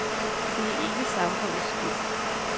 Det er ikke samfundets skyld.